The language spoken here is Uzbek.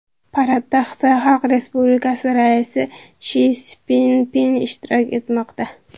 Paradda Xitoy Xalq Respublikasi raisi Si Szinpin ishtirok etmoqda.